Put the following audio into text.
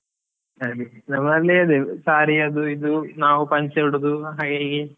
ಹಾಗೆ, ನಮ್ಮಲ್ಲಿ ಅದೇ saree ಅದು ಇದು, ನಾವ್ ಪಂಚೆ ಉಡೋದ್ ಹಾಗೆ ಹೀಗೆ.